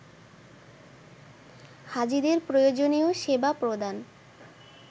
হাজীদের প্রয়োজনীয় সেবা প্রদান